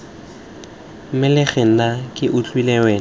mmelege nna ke utlwile wena